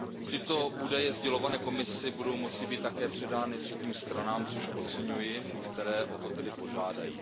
Tyto údaje sdělované Komisi budou moci být také předány třetím stranám, což oceňuji, které o to tedy požádají.